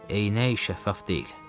Eynək şəffaf deyil.